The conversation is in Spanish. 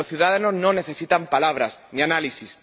Los ciudadanos no necesitan palabras, ni análisis.